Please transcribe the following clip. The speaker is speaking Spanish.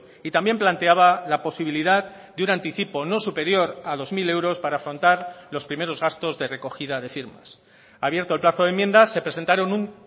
y también planteaba la posibilidad de un anticipo no superior a dos mil euros para afrontar los primeros gastos de recogida de firmas abierto el plazo de enmiendas se presentaron un